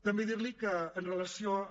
també dir li que amb relació a